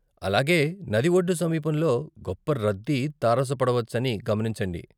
అలాగే, నది ఒడ్డు సమీపంలో గొప్ప రద్దీ తారసపడవచ్చని గమనించండి.